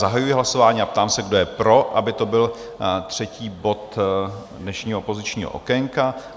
Zahajuji hlasování a ptám se, kdo je pro, aby to byl třetí bod dnešního opozičního okénka?